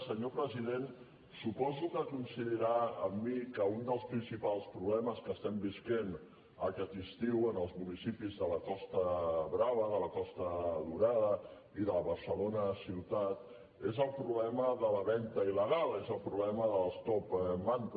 senyor president suposo que coincidirà amb mi que un dels principals problemes que estem vivint aquest estiu en els municipis de la costa brava de la costa daurada i de barcelona ciutat és el problema de la venda il·legal és el problema dels top manta